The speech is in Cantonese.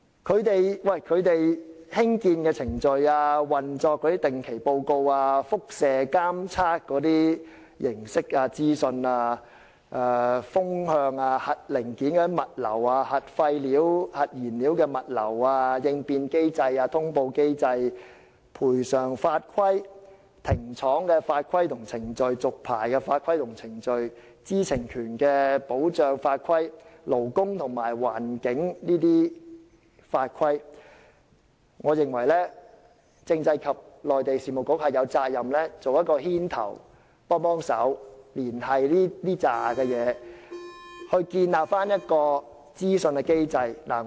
關於它們的興建程序、運作的定期報告、輻射監測形式和資訊、風向、核零件物流、核廢料及核燃料物流、應變機制、通報機制、賠償法規、停廠法規及程序、續牌法規及程序、知情權的保障法規、勞工及環境法規等，我認為政制及內地事務局有責任牽頭作出連繫，從而建立一套資訊機制。